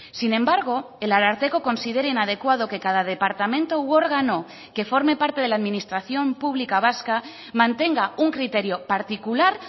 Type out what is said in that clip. sin embargo el ararteko considera inadecuado que cada departamento u órgano que forme parte de la administración pública vasca mantenga un criterio particular